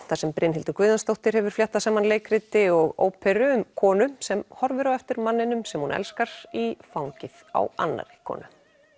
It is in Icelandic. þar sem Brynhildur Guðjónsdóttir hefur fléttað saman leikriti og óperu um konu sem horfir á eftir manninum sem hún elskar í fangið á annarri konu